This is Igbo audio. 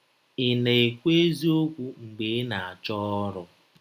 Ị̀ na - ekwụ eziọkwụ mgbe ị na - achọ ọrụ?